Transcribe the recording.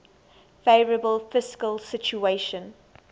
favourable fiscal situation